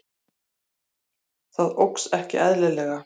Það óx ekki eðlilega.